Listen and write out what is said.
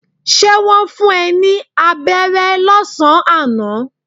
Ṣé wọn fún ẹ ní aberé lásán àná?